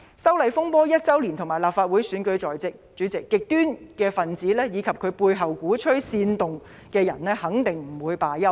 修例風波即將一周年，以及立法會選舉在即，主席，極端分子及其背後鼓吹煽動的人肯定不會罷休。